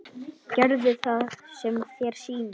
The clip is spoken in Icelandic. Gerðu það sem þér sýnist.